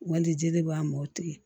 Ŋɔndi jeli b'a mɔ o tigi